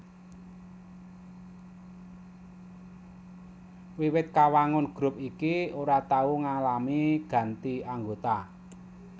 Wiwit kawangun grup iki ora tau ngalami ganti anggota